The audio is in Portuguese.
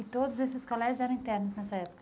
E todos esses colégios eram internos nessa época?